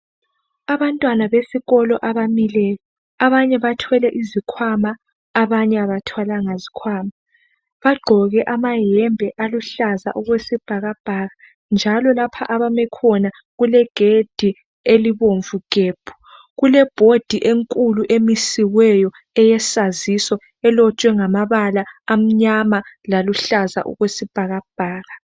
Abantwana besikolo abamileyo. Abanye bathwele izikhwama abanye abathwalanga izikhwama. Bagqoke amayembe aluhlaza okwesibhakabhaka njalo lapha abamekhona kulegedi elibomvu gebhu. Kulebhodi enkulu emisiweyo eyesaziso elotshwe ngamabala amnyama laluhlaza okwesibhakabhaka.